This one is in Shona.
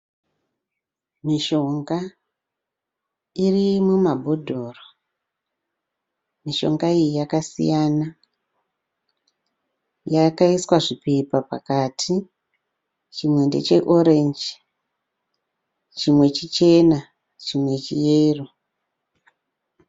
Mishonga iri mumabhodhoro, mishonga iyi yakasiyana yakaiswa zvipepa pakati chimwe ndeche ranjisi, chimwe chichena, chimwe cheyero.